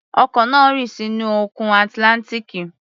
Ọkọ̀ náà rì sínú Òkun Atlántíkì